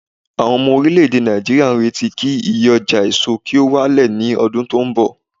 awon omo orileede Naijiriya n reti ki iye oja eso ki o wa le ni odun ton bo